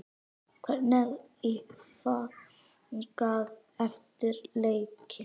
Hvernig var fagnað eftir leikinn?